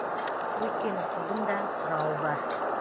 өйткені судың да сұрауы бар